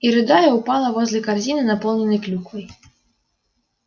и рыдая упала возле корзины наполненной клюквой